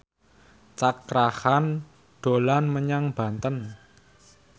Cakra Khan dolan menyang Banten